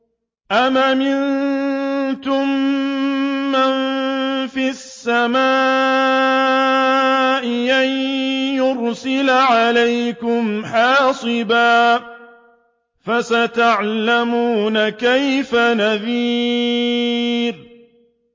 أَمْ أَمِنتُم مَّن فِي السَّمَاءِ أَن يُرْسِلَ عَلَيْكُمْ حَاصِبًا ۖ فَسَتَعْلَمُونَ كَيْفَ نَذِيرِ